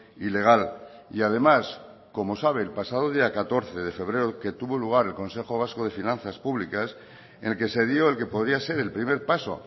ilegal y además como sabe el pasado día catorce de febrero que tuvo lugar el consejo vasco de finanzas públicas en el que se dio el que podía ser el primer paso